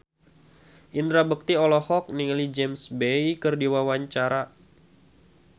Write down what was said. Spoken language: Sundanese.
Indra Bekti olohok ningali James Bay keur diwawancara